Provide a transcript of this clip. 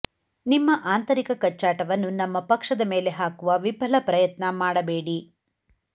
ನಿಮ್ಮ ಆಂತರಿಕ ಕಚ್ಚಾಟವನ್ನು ನಮ್ಮ ಪಕ್ಷದ ಮೇಲೆ ಹಾಕುವ ವಿಫಲ ಪ್ರಯತ್ನ ಮಾಡಬೇಡಿ